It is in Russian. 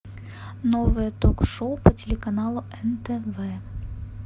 новое ток шоу по телеканалу нтв